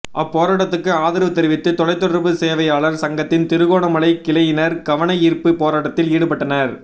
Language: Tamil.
அப்போராட்டத்துக்கு ஆதரவு தெரிவித்து தொலைதொடர்பு சேவையாளர் சங்கத்தின் திருகோணமலை கிளையினர் கவனயீர்ப்பு போராட்டத்தில் ஈடுபட்டனர்